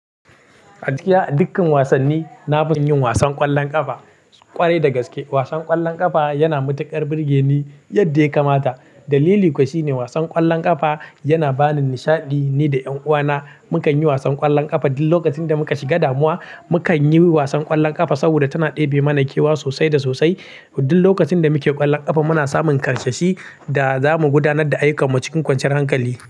A dukkan wasanni, na fi son yin wasan ƙwallon ƙafa ƙwarai da gaske. Wasan ƙwallon ƙafa yana matuƙar burge ni yadda ya kamata. Dalili kuwa shine wasan ƙwallon ƙafa yana bani nishaɗi, ni da ƴanuwana mukan yi wasan ƙwallon ƙafa. Duk lokacin da muka shiga damuwa, mukan yi wasan ƙwallon ƙafa saboda tana ɗebe mana kewa sosai da sosai. Duk lokacin da muke ƙwallon ƙafa muna samun ƙarsashi da za mu gudanar da ayyukanmu cikin kwanciyar hankali.